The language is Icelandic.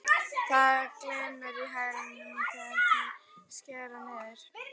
Það glymur í hælunum þegar þeir skella niður.